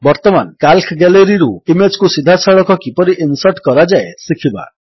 ବର୍ତ୍ତମାନ କାଲ୍କ ଗ୍ୟାଲେରୀରୁ ଇମେଜ୍ କୁ ସିଧାସଳଖ କିପରି ଇନ୍ସର୍ଟ କରାଯାଏ ଶିଖିବା